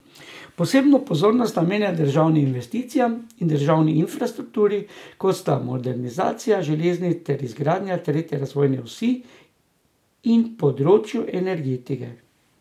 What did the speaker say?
Posebno pozornost namenjajo državnim investicijam in državni infrastrukturi, kot sta modernizacija železnic ter izgradnja tretje razvojne osi, in področju energetike.